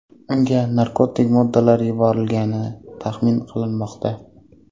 Unga narkotik moddalar yuborilgani taxmin qilinmoqda.